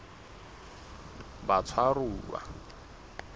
batshwaruwa